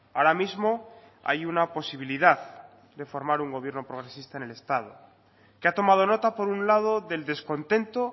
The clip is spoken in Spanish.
ahora mismo hay una posibilidad de formar un gobierno progresista en el estado que ha tomado nota por un lado del descontento